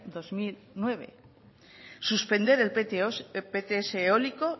dos mil nueve suspender el pts eólico